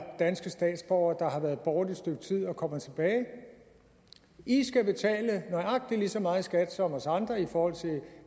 danske statsborgere der har været borte et stykke tid og kommer tilbage i skal betale nøjagtig lige så meget i skat som os andre i forhold til